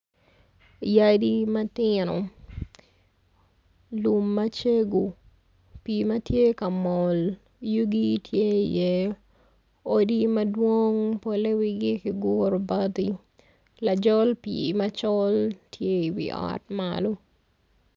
Yadi matino lum macego pii ma tye ka mol odi ma yugi tye iye odi madwong polle wigi kiguro bati lajol pii macol tye iwi ot malo.